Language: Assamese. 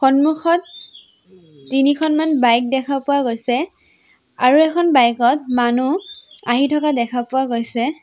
সন্মুখত তিনিখনমান বাইক দেখা পোৱা গৈছে আৰু এখন বাইকত মানুহ আহি থকা দেখা পোৱা গৈছে।